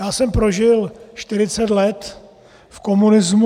Já jsem prožil 40 let v komunismu.